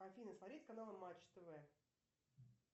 афина смотреть канал матч тв